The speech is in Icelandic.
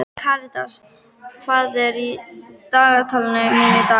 Karitas, hvað er í dagatalinu mínu í dag?